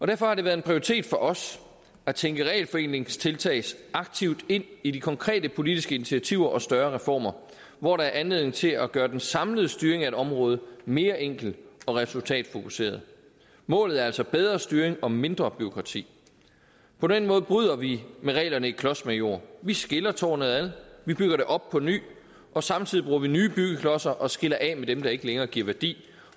derfor har det været en prioritet for os at tænke regelforenklingstiltag aktivt ind i de konkrete politiske initiativer og større reformer hvor der er anledning til at gøre den samlede styring af et område mere enkel og resultatfokuseret målet er altså bedre styring og mindre bureaukrati på den måde bryder vi med reglerne i klodsmajor vi skiller tårnet ad vi bygger det op på ny og samtidig bruger vi nye byggeklodser og skiller os af med dem der ikke længere giver værdi